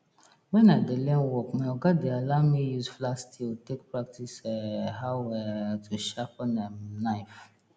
wen i dey learn work my oga dey allow me use flat steel take practice um how um to sharpen um knife